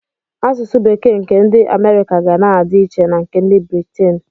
Asụsụ bekee nke ndị Amerịka ga na-adị iche na nke ndị Britin.